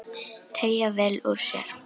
Teygja vel úr sér.